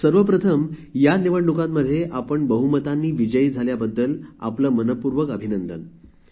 आदरणीय पंतप्रधान माझा नमस्कार सर्व प्रथम मी तुमचे अभिनंदन करते की आपण या निवडणुकांमध्ये मोठ्या मतांनी विजय प्राप्त केला